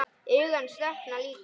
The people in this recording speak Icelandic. Augu hans dökkna líka.